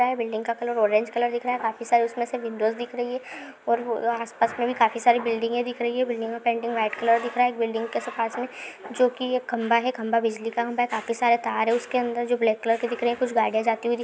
building का colour orange colour दिख रहा है काफी सारी उसमें से विंडोस दिख रही हैं और आसपास में भी काफी सारी बिल्डिंगे दिख रही हैं बिल्डिंग का पेंटिंग वाईट कलर दिख रहा है एक बिलिंग के पास में जो कि एक खंभा है खंभा बिजली का खंभा है काफी सारे तार हैं उसके अंदर जो ब्लेक कलर के दिख रहे हैं कुछ गाड़िया जाती दिख --